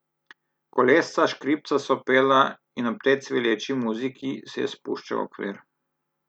Kolesca škripca so pela in ob tej cvileči muziki se je spuščal okvir.